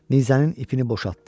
Nizənin ipini boşaltdı.